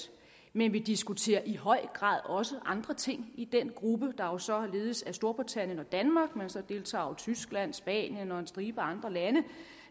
men vi diskuterer i høj grad også andre ting i den gruppe der jo så ledes af storbritannien og danmark og så deltager tyskland spanien og en stribe andre lande